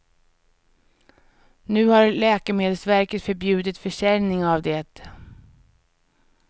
Nu har läkemedelsverket förbjudit försäljning av det.